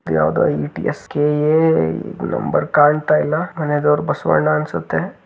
ಯಾವ್ದೋ ಈ T S K A number ಕಾಣ್ತಾ ಇಲ್ಲ.